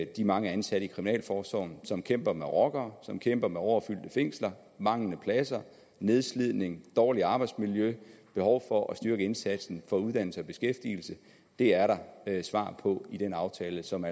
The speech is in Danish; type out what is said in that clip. de mange ansatte i kriminalforsorgen som kæmper med rockere som kæmper med overfyldte fængsler manglende pladser nedslidning dårligt arbejdsmiljø behov for at styrke indsatsen for uddannelse og beskæftigelse det er der svar på i den aftale som